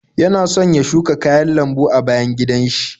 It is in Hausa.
Yana son ya shuka kayan lambu a bayan gidan shi.